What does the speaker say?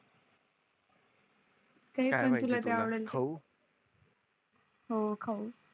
खाऊ हो खाऊ